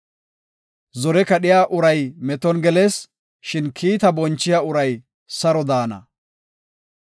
Zore kadhiya uray meton gelees; shin kiita bonchiya uray saro de7ana.